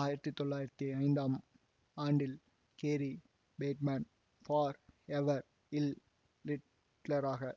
ஆயிரத்தி தொள்ளாயிரத்தி ஐந்தாம் ஆண்டில் கேரி பேட்மேன் ஃபார் எவர் இல் ரிட்லராக